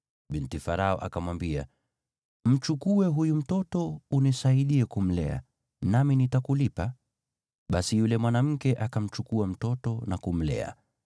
Binti Farao akamwambia, “Mchukue huyu mtoto unisaidie kumlea, nami nitakulipa.” Basi yule mwanamke akamchukua mtoto na kumlea.